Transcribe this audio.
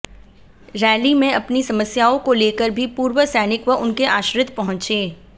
rally में अपनी समस्याआंे को लेकर भी पूर्व सैनिक व उनके आश्रित पहुंचे